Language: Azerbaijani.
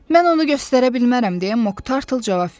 Mən onu göstərə bilmərəm, deyə Mok Tartıl cavab verdi.